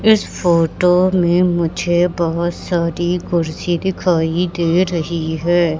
इस फोटो में मुझे बहुत सारी कुर्सी दिखाई दे रही है।